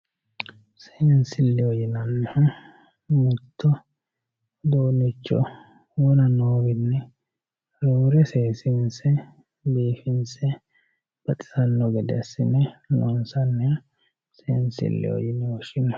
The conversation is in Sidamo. seensilleho yinannihu mittoricho wona noowiinni roore seesiinse biifinse baxisanno gede assine loonsanniha seensilleho yine woshshinanni